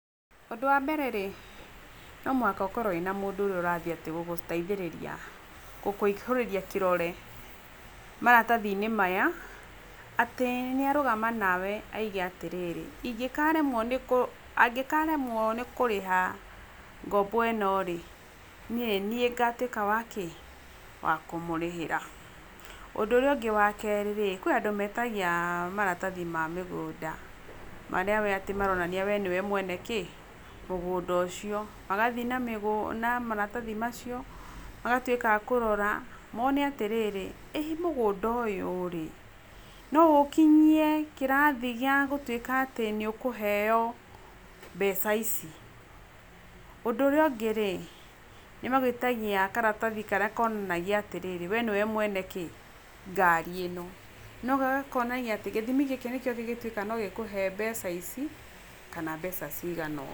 Ũndũ wa mbere rĩ no mũhaka ũkorwo na mũndũ ũrĩa ũrathiĩ gũgũteithĩrĩria gũkũihũrĩrĩa kĩrore maratathinĩ maya atĩ nĩ arũgama nawe na aũge atĩrĩrĩ, angĩkaremwo nĩ kũrĩha ngombo ĩno rĩ niĩ nĩ niĩ ngatuĩka wa kĩ, wakũmũrĩhĩra ũndũ ũríĩ ũngĩ wa kerĩ rĩ kwĩ andũ metagia maratathi ma mũgũnda marĩa we atĩ maronania we nĩwe mwene mũgũnda ũcio magathiĩ na maratathi macio magatuĩka a kũrora mone atĩrĩrĩ ĩ mũgũnda ũyũ rĩ no ũkinyie kĩrathi kĩa gũtuĩka atĩ nĩ ũkũheo mbeca ici, ũndũ ũrĩa ũngĩ rĩ nĩ magũĩtagia karathi karĩa konanagia atĩrĩrĩ we nĩwe mwene kĩ, ngari ĩno nagakonania atĩ gĩthimi gĩkĩ nĩkĩo gĩgĩtuĩkaga no gĩkũhe mbeca ici kana mbeca cigana ũũ.